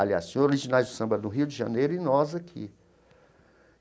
Aliás, tinha Os Originais do Samba do Rio de Janeiro e nós aqui.